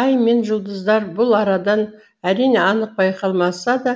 ай мен жұлдыздар бұл арадан әрине анық байқалмаса да